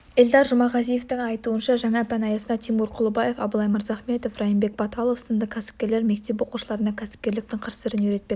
эльдар жұмағазиевтің айтуынша жаңа пән аясында тимур құлыбаев абылай мырзахметов райымбек баталов сынды кәсіпкерлер мектеп оқушыларына кәсіпкерліктің қыр-сырын үйретпек